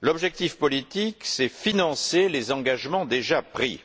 L'objectif politique consiste à financer les engagements déjà pris, et